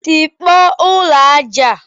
Tikpọọ ụlọ aja a!